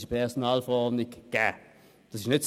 es ist in der Personalverordnung (PV) gegeben.